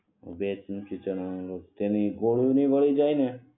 ભેજ નથી ચણા નો લોટ તો તેની કોરુ નહિ વળી જાય ને